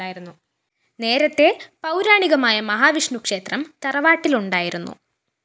നേരത്തെ പൗരാണികമായ മഹാവിഷ്ണു ക്ഷേത്രം തറവാട്ടില്‍ ഉണ്ടായിരുന്നു